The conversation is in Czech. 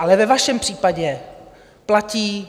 Ale ve vašem případě platí -